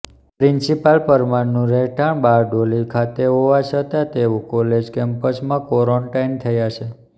principal પરમારનું રહેઠાણ બારડોલી ખાતે હોવા છતાં તેઓ કોલેજ કેમ્પસમાં કોરન્ટાઇન થયા છે